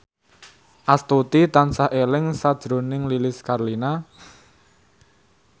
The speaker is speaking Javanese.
Astuti tansah eling sakjroning Lilis Karlina